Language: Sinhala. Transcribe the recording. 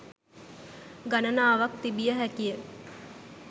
ගණනාවක් තිබිය හැකිය